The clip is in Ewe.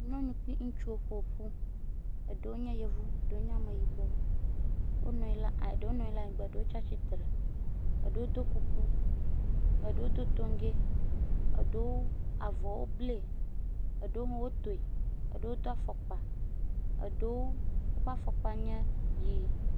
Nyɔnu kple ŋutsuwo ƒoƒu. Eɖewo nye yevu eɖewo nye ameyibɔ. Wonɔ anyi ɖe eɖewo nɔ anyi ɖe anyigba, eɖewo tsi atsitre. Eɖewo do kuku, ɖewo do toŋgɛ eɖewo avɔwo ble. Eɖewo hã wo tɔe, eɖewo do afɔkpa, eɖewo ƒe afɔkpa nye ʋi.